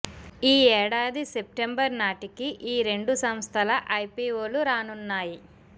ఈ ఏడాది సెప్టెంబర్ నాటికి ఈ రెండు సంస్థల ఐపీఓలు రానున్నాయి